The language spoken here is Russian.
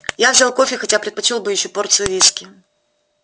я взял кофе хотя предпочёл бы ещё порцию виски